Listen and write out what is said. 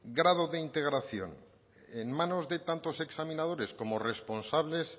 grado de integración en manos de tantos examinadores como responsables